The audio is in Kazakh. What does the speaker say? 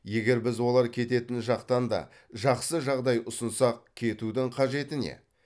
егер біз олар кететін жақтан да жақсы жағдай ұсынсақ кетудің қажеті не